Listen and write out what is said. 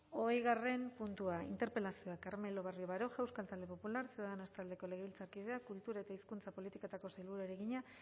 hogeigarren puntua interpelazioa carmelo barrio baroja euskal talde popular ciudadanos taldeko legebiltzarkideak kultura eta hizkuntza politikako sailburuari egina